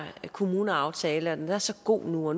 kommuneaftale at den er så god og